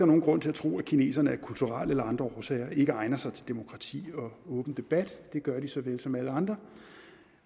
nogen grund til at tro at kineserne af kulturelle eller andre årsager ikke egner sig til demokrati og åben debat det gør de såvel som alle andre